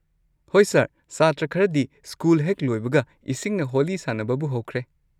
ꯍꯣꯏ ꯁꯔ, ꯁꯥꯇ꯭ꯔ ꯈꯔꯗꯤ ꯁ꯭ꯀꯨꯜ ꯍꯦꯛ ꯂꯣꯏꯕꯒ ꯏꯁꯤꯡꯅ ꯍꯣꯂꯤ ꯁꯥꯅꯕꯕꯨ ꯍꯧꯈ꯭ꯔꯦ꯫